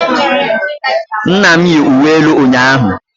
nna m yi uwe elu ụnyahụ